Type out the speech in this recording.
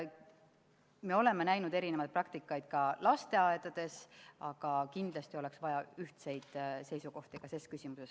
Me oleme näinud lasteaedades erinevaid praktikaid, aga kindlasti oleks vaja ühtseid seisukohti ka selles küsimuses.